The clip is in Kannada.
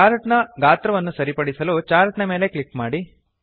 ಚಾರ್ಟ್ ನ ಗಾತ್ರವನ್ನು ಸರಿಪಡಿಸಲು ಚಾರ್ಟ್ ನ ಮೇಲೆ ಕ್ಲಿಕ್ ಮಾಡಿ